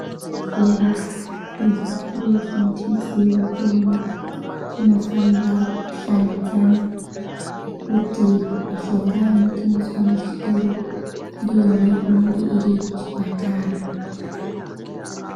Zvibhedhlera nezvitoro zvinotengese mitombo zvinofanira kushandidzana ngekuti mishonga inotengeswa muzvitoro ndiyona inenge iri kuchipatara.